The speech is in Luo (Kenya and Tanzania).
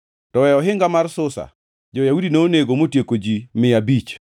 To e ohinga mar Susa, jo-Yahudi nonego motieko ji mia abich.